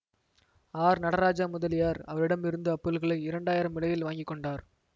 R Nataraja Mudaliar அவரிடம் இருந்து அப்பொருட்களை இரண்டு ஆயிரம் விலையில் வாங்கி கொண்டார்